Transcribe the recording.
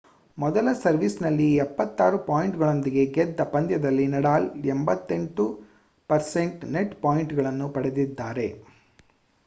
ಮೊದಲ ಸರ್ವೀಸ್‌ನಲ್ಲಿ 76 ಪಾಯಿಂಟ್‌ಗಳಿಂದ ಗೆದ್ದ ಪಂದ್ಯದಲ್ಲಿ ನಡಾಲ್ 88% ನೆಟ್‌ ಪಾಯಿಂಟ್‌ಗಳನ್ನು ಪಡೆದಿದ್ದಾರೆ